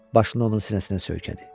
Başını onun sinəsinə söykədi.